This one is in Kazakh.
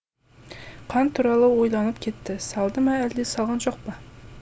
қант туралы ойланып кетті салды ма әлде салған жоқпа